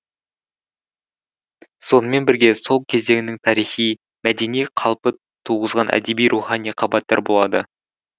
сонымен бірге сол кезеңнің тарихи мәдени қалпы туғызған әдеби рухани қабаттар болады